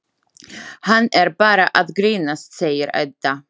Hann er bara að grínast, segir Edda.